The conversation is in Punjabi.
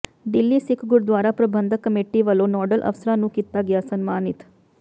ਦਿੱਲੀ ਸਿੱਖ ਗੁਰਦੁਆਰਾ ਪ੍ਰਬੰਧਕ ਕਮੇਟੀ ਵੱਲੋਂ ਨੋਡਲ ਅਫਸਰਾਂ ਨੂੰ ਕੀਤਾ ਗਿਆ ਸਨਮਾਨਿਤ